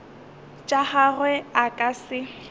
tša gagwe a ka se